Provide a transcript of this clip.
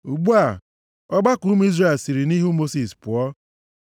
Ugbu a, ọgbakọ ụmụ Izrel niile siri nʼihu Mosis pụọ.